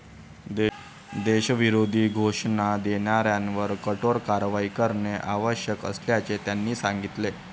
देशविरोधी घोषणा देणाऱ्यांवर कठोर कारवाई करणे आवश्यक असल्याचे त्यांनी सांगितले.